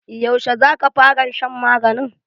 Yaushe za ka faran shan maganin?